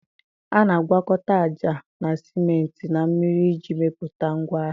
A na-agwakọta ájá na sịment na mmiri iji mepụta ngwa agha